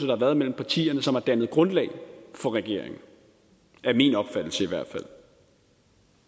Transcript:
har været mellem partierne som har dannet grundlag for regeringen det er min opfattelse